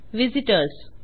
visit ORS